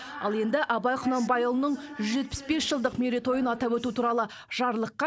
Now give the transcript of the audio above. ал енді абай құнанбайұлының жүз жетпіс бес жылдық мерейтойын атап өту туралы жарлыққа